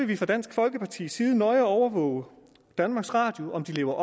vi fra dansk folkepartis side nøje overvåge om danmarks radio lever